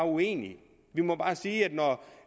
uenige vi må bare sige